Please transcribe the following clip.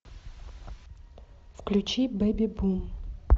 включи бэби бум